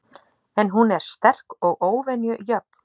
En hún er sterk og óvenju jöfn.